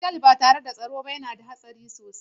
Otal ba tare da tsaro yana da hatsari sosai.